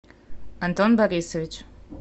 антон борисович